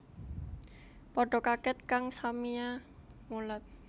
Padha kaget kang samiya mulat